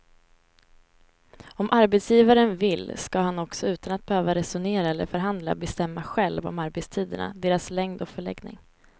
Om arbetsgivaren vill ska han också utan att behöva resonera eller förhandla bestämma själv om arbetstiderna, deras längd och förläggning.